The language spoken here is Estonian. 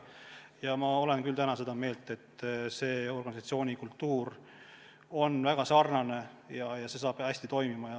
Praegu ma olen küll seda meelt, et nende organisatsioonikultuurid on väga sarnased ja kõik saab hästi toimima.